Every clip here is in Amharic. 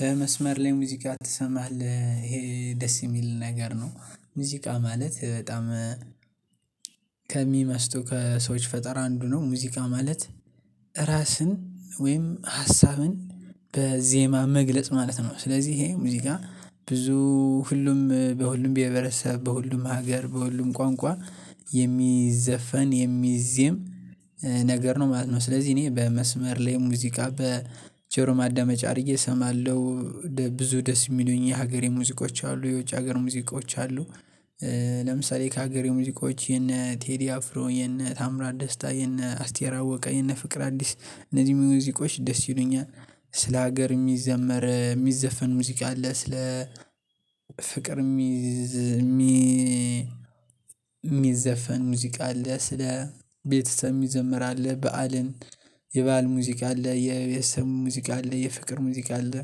በመስመር ላይ ሙዚቃ ትሰማለህ ይሄ ደስ የሚል ነገር ነው ሙዚቃ ማለት በጣም ከሚመስጡ ከሰዎች ፈጠራ አንዱ ነው ሙዚቃ ማለት ወይም ሀሳብን በዜማ መግለጽ ማለት ነው ስለዚህ ይሄ ሙዚቃ ብዙ ሁሉም በሁሉም ብሄረሰብ በሁሉም ሀገር በሁሉም ቋንቋ የሚዘፈን የሚዜም ነገር ነው ማለት ነው። ስለዚህ እኔ በመስመር ላይ ሙዚቃ በጀሮ ማዳመጫ አድርጌ እሰማለሁ ብዙ ደስ የሚሉኝ የሀገሬ ሙዚቆች አሉ የውጭ ሀገር ሙዚቆች አሉ። ለምሳሌ ከሀገሬ ሙዚቆች የነ ቴዲ አፍሮ የነ ታምራት ደስታ የነ አስቴራ አወቀ የነ ፍቅር አዲስ እነዚህ ሙዚቆች ደስ ይሉኛል። ስለ ሀገር የሚዘመር የሚዘፈን ሙዚቃ አለ ስለ ፍቅር የሚዘፈን ሙዚቃ አለ። ስለ ቤተሰብ የሚዘመር በዓልን የበአል ሙዚቃ አለ የቤተሰብ ሙዚቃ አለ የፍቅር ሙዚቃ አለ።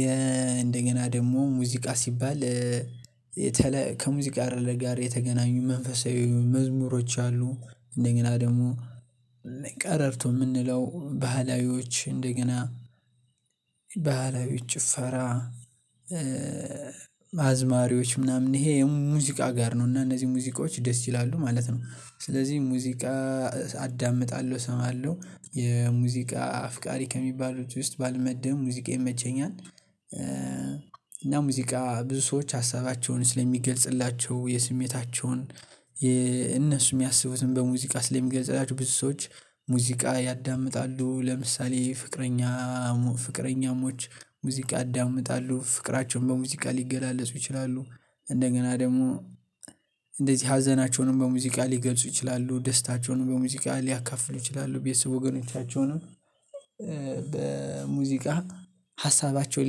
የ እንደገና ደግሞ ሙዚቃ ሲባል ከሙዚቃ ጋር የተገናኙ መንፈሳዊ መዝሙሮች አሉ። እንደገና ደግሞ ቀረርቶ የምንለው ባህላዊዎች እንደገና ባህላዊዎች ጭፈራ አዝማሪዎች ምናምን ይሄ የሙዚቃ ጋር ነው እና እነዚህ ሙዚቃዎች ደስ ይላሉ ማለት ነው። ስለዚህ ሙዚቃ አዳምጣለሁ እሰማለሁ የሙዚቃ አፍቃሪ ከሚባሉት ውስጥ ባልመደብም ሙዚቃ ይመቸኛል። እና ሙዚቃ ብዙ ሰዎች ሀሳባቸውን ስለሚገልጽላቸው የስሜታቸውን እነሱ የሚያስቡትን በሙዚቃ ስለሚገልጽላቸው ብዙ ሰዎች ሙዚቃ ያዳምጣሉ። ለምሳሌ ፍቅረኛ ፍቅረኛሞች ሙዚቃ ያዳምጣሉ ፍቅራቸውን በሙዚቃሊገላለጹ ይችላሉ እንደገና ደግሞ እንደዚህ ሀዘናቸውንም በሙዚቃ ሊገልጹ ይችላሉ ደስታቸውን በሙዚቃ ሊያካፍሉ ይችላሉ ቤተሰብ ወገኖቻቸውንም በሙዚቃ ሀሳባቸውን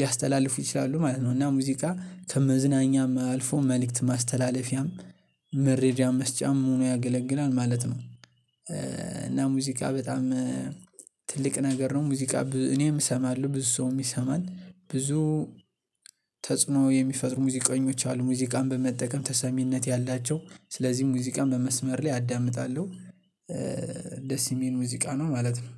ሊያስተላልፉ ይችላሉ ማለት ነው። እና ሙዚቃ ከመዝናኛም አልፎ መልእክት ማስተላለፊያም ምረጃም መስጫም ሆኖ ያገለግላል ማለት ነው። እና ሙዚቃ በጣም ትልቅ ነገር ነው ሙዚቃ እኔም እሰማለሁ ብዙ ሰውም ይሰማል ብዙ ተጽኖ የሚፈጥሩ ሙዚቀኞች አሉ። ሙዚቃን በመጠቀም ተሰሚነት ያላቸው ስለዚህ ሙዚቃን በመስመር ላይ አዳምጣለሁ። ደስ የሚል ሙዚቃ ነው ማለት ነው።